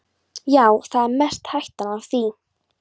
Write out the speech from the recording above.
Já, það er mest hættan á því.